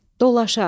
Dolaşa.